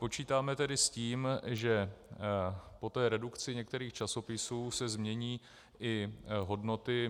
Počítáme tedy s tím, že po té redukci některých časopisů se změní i hodnoty.